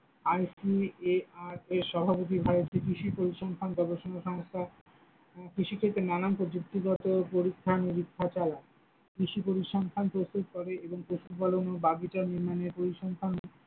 ICARS সভাপতি ভারতে কৃষি পরিসংখ্যান গবেষনা সংস্থা, উম কৃষি ক্ষেত্রে নানান প্রযুক্তিগত পরীক্ষা নিরীক্ষা চালায়, কৃষি পরিসংখ্যান প্রস্তুত করে এবং পশুপালন ও বাগিচা নির্মাণের পরিসংখ্যান।